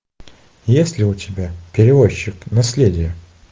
есть ли у тебя перевозчик наследие